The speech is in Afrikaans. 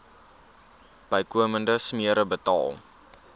bykomende smere betaal